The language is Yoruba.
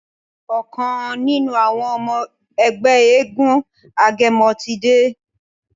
ọkàn nínú àwọn ọmọ Ègbé éégun agẹmọ tí dé.